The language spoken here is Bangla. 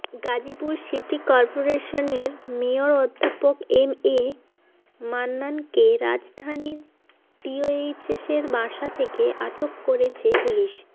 গাজীপুর সিটি করপোরেশনের মেয়র অধ্যাপক এম এ মান্নানকে রাজধানীর ডিওএইচএসের বাসা থেকে আটক করেছে পুলিশ